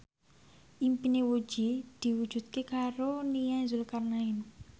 impine Puji diwujudke karo Nia Zulkarnaen